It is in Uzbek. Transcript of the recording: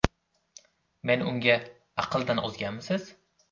Men unga: ‘Aqldan ozganmisiz?